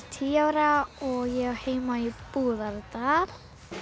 tíu ára og ég á heima í Búðardal